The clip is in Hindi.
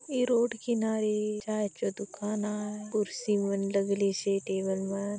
ऐ रोड किनारे चाय चो दुकान आय कुर्सी मन लगलिसे टेबल मन--